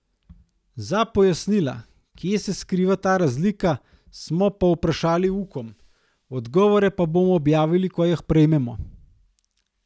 Za pojasnila, kje se skriva ta razlika, smo povprašali Ukom, odgovore pa bomo objavili, ko jih prejmemo.